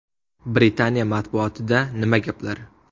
Britaniya matbuotida nima gaplar?